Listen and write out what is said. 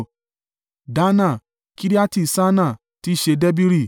Dannah, Kiriati-Sannnah (tí í ṣe Debiri),